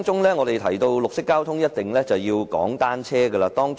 一提到綠色交通，便一定要提及單車。